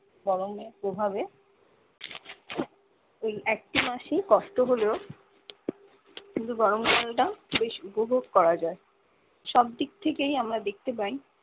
গরমের প্রভাবে একটি মাসেই কষ্ট হলেও কিন্তু গরম কালটা বেশ উপভোগ করা যায় সব দিক থেকেই আমরা দেখতে পাই